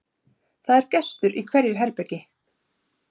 það er gestur í hverju herbergi